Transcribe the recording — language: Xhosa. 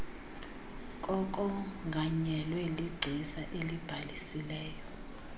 kokonganyelwa ligcisa elibhalisileyo